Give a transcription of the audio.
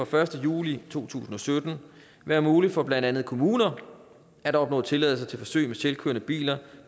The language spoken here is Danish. første juli to tusind og sytten være muligt for blandt andet kommuner at opnå tilladelse til forsøg med selvkørende biler